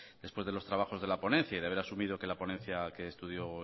después de los trabajos de la ponencia y de haber asumido que la ponencia que estudió